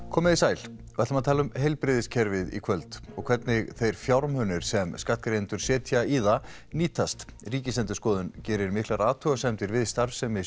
komiði sæl við ætlum að tala um heilbrigðiskerfið í kvöld og hvernig þeir fjármunir sem skattgreiðendur setjum í það nýtast Ríkisendurskoðun gerir miklar athugasemdir við starfsemi